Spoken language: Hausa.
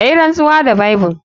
Kayinrantsuwa da Bible.